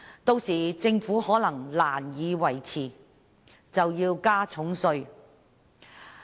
屆時，政府可能難以維持，因此要大幅加稅。